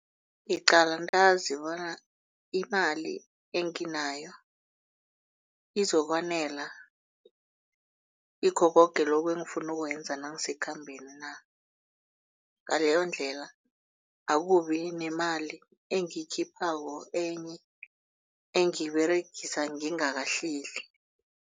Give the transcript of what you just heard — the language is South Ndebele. Ngiqala ntazi bona imali enginayo izokwanela kikho koke lokhu engifuna ukukwenza nangisekhambeni na. Ngaleyondlela akubi nemali enye engiyiberegisa ngingakahleli.